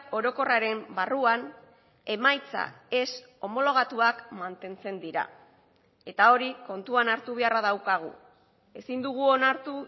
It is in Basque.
orokorraren barruan emaitza ez homologatuak mantentzen dira eta hori kontuan hartu beharra daukagu ezin dugu onartu